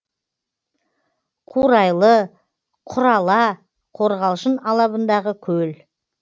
қурайлы құрала қорғалжын алабындағы көл